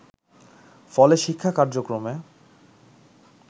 ফলে শিক্ষা কার্যক্রমে